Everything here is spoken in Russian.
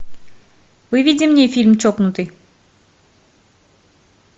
выведи мне фильм чокнутый